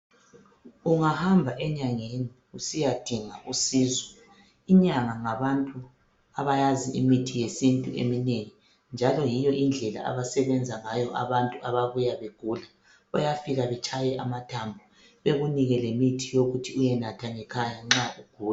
Ungahamba enyangeni usiyadinga usizo inyanga ngabantu abayazi imithi yesintu eminengi njalo yiyo indlela abasebenza ngayo abantu ababuya begula, bayafika betshaye amathambo bekunike lemithi yokuthi uyenatha ngekhaya nxa ugula.